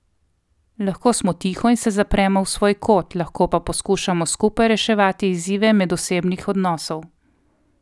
Lahko smo tiho in se zapremo v svoj kot, lahko pa poskušamo skupaj reševati izzive medosebnih odnosov.